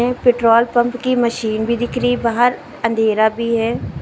Petrol pump की machine भी दिख रही है। बाहर अंधेरा भी है।